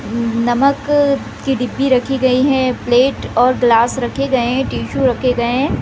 नमक अ की डिब्बी रखी गई है प्लेट और ग्लास रखे गए है टिश्यू रखे गए है।